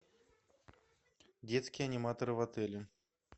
детские аниматоры в отеле